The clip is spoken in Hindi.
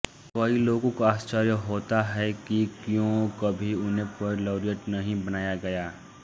कई लोगों को आश्चर्य होता है कि क्यों कभी उन्हें पोएट लौरियट नहीं बनाया गया